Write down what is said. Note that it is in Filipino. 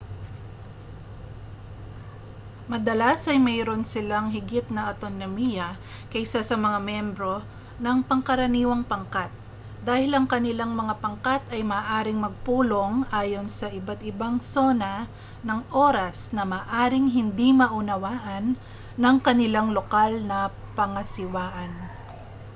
madalas ay mayroon silang higit na awtonomiya kaysa sa mga miyembro ng pangkaraniwang pangkat dahil ang kanilang mga pangkat ay maaaring magpulong ayon sa iba't-ibang sona ng oras na maaaring hindi maunawaan ng kanilang lokal na pangasiwaan